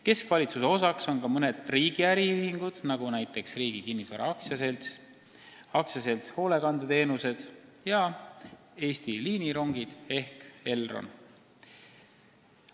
Keskvalitsuse osaks on ka mõned riigi äriühingud, näiteks Riigi Kinnisvara AS, AS Hoolekandeteenused ja Eesti Liinirongid ehk Elron.